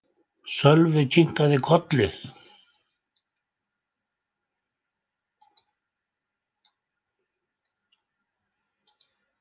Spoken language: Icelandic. Sölvi kinkaði kolli.